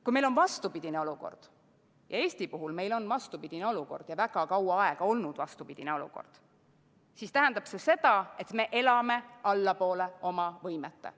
Kui meil on vastupidine olukord – ja Eesti puhul on vastupidine olukord ja väga kaua aega on olnud vastupidine olukord –, siis see tähendab, et me elame allapoole oma võimete.